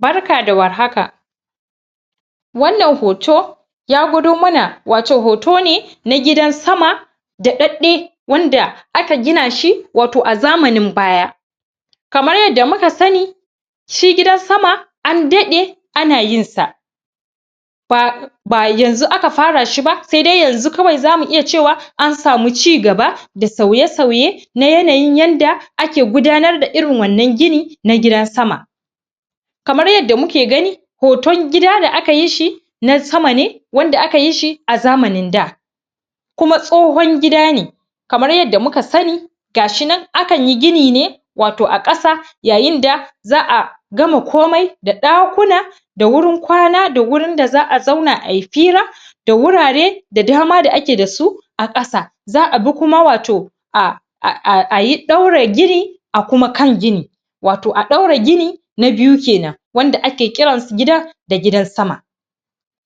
Barka da warhaka wannan hoto ya gwado mana wato, hoto ne na gidan sama daɗaɗɗe wanda aka gina shi wato a zamanin baya kamar yadda muka sani shi gidan sama an daɗe ana yin sa ba ba yanzu aka fara shi ba, sai dai yanzu kawai zamu iya cewa an samu cigaba da sauye sauye na yanayin yadda ake gudanar da irin wannan gini na gidan sama kamar yadda muke gani hoton gida da aka yi shi na sama ne, wanda aka yi shi a zamanin da kuma tsohon gida ne kamar yadda muka sani gashin akan yi gini ne wato a ƙasa yayin da za'a gama komai da ɗakunan da wurin ƙana da wurin da za'a zauna ayi fira da wurare da dama da ake dasu a ƙasa za'a bi kuma wato a a[um] ayi ɗaure gini a kuma kan gini wato a ɗaura gini na biyu kenan wanda ake kirasu gidan da gidan sama